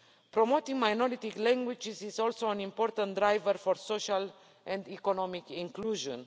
Promoting minority languages is also an important driver for social and economic inclusion.